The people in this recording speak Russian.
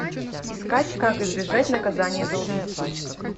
искать как избежать наказания за убийства